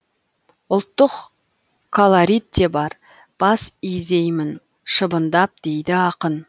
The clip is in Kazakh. ұлттық колорит те бар бас изеймін шыбындап дейді ақын